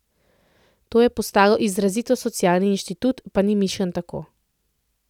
To je postal izrazito socialni inštitut, pa ni mišljen tako.